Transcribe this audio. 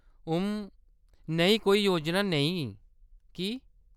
उम्म, नेही कोई योजना नेईं, की ?